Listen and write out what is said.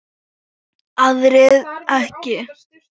Aðrir ekki.